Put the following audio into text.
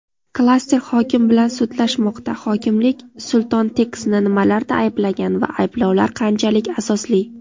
Klaster hokim bilan sudlashmoqda: Hokimlik "Sultonteks"ni nimalarda ayblagan va ayblovlar qanchalik asosli?.